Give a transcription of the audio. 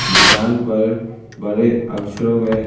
दुकान पर बड़े अक्षरों में--